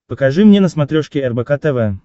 покажи мне на смотрешке рбк тв